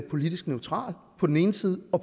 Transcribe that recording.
og